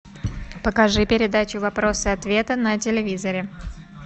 покажи передачу вопросы ответы на телевизоре